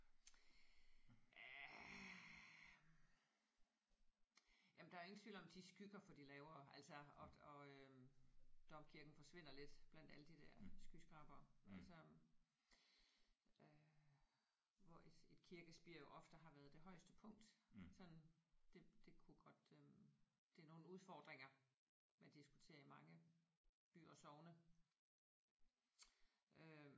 Øh jamen der er jo ingen tvivl om at de skygger for de lavere altså og og øh domkirken forsvinder lidt blandt alle de der skyskrabere og så øh hvor et et kirkespir jo ofte har været det højeste punkt. Sådan det det kunne godt øh det er nogle udfordringer man diskuterer i mange byer og sogne øh